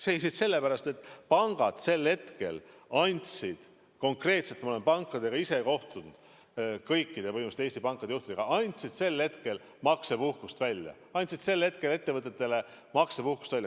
Seisid sellepärast, et pangad sel hetkel andsid konkreetselt – ma olen ise kohtunud põhimõtteliselt kõikide Eesti pankade juhtidega – maksepuhkust.